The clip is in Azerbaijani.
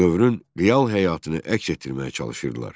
Dövrün real həyatını əks etdirməyə çalışırdılar.